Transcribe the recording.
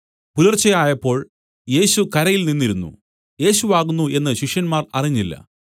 പുലർച്ച ആയപ്പോൾ യേശു കരയിൽ നിന്നിരുന്നു യേശു ആകുന്നു എന്നു ശിഷ്യന്മാർ അറിഞ്ഞില്ല